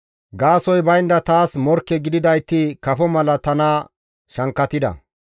Gaasoykka baynda taas morkke gididayti kafo mala tana shankkatida.